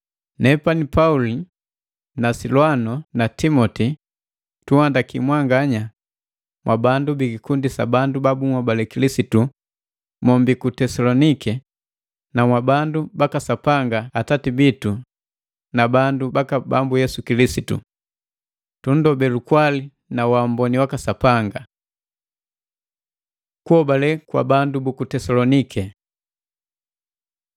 Nepani Pauli na Silwano na Timoti, tunhandaki. Mwanganya mwa bandu bikikundi sa bandu babunhobale Kilisitu mommbii ku Tesaloniki na mwabandu baka Sapanga Atati bitu na bandu baka Bambu Yesu Kilisitu. Tunndobe lukwali na waamboni waka Sapanga. Kuhobale kwa bandu buku Tesalonike